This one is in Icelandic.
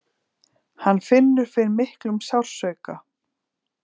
Hann finnur fyrir miklum sársauka.